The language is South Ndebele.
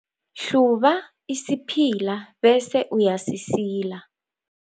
Hluba isiphila bese uyasisila.